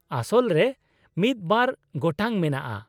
-ᱟᱥᱚᱞ ᱨᱮ ᱢᱤᱫ ᱵᱟᱨ ᱜᱚᱴᱟᱝ ᱢᱮᱱᱟᱜᱼᱟ ᱾